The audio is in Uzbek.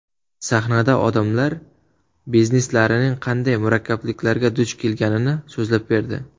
Sahnada odamlar bizneslarining qanday murakkabliklarga duch kelganini so‘zlab berdi.